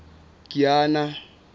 kiana